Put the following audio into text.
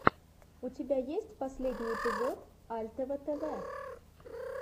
у тебя есть последний эпизод альтева тэвэ